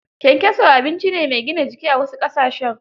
Kyankyaso abinci ne mai gina jiki a wasu ƙasashen.